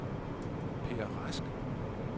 Peer Rask